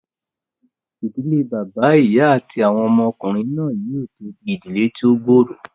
Ìdílé bàbá, ìyá àti àwọn ọmọ ọkùnrin náà yóò tó di ìdílé tí ó gbòòrò